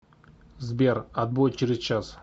сбер отбой через час